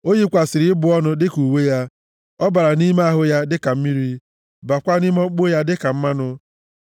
O yikwasịrị ịbụ ọnụ dịka uwe ya; ọ bara nʼime ahụ ya dịka mmiri, bakwaa nʼime ọkpụkpụ ya dịka mmanụ.